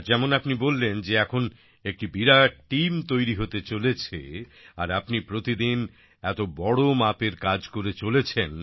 আর যেমন আপনি বললেন যে এখন একটি বিরাট টিম তৈরি হতে চলেছে আর আপনি প্রতিদিন এত বড় মাপের কাজ করে চলেছেন